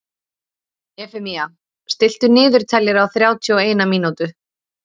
Efemía, stilltu niðurteljara á þrjátíu og eina mínútur.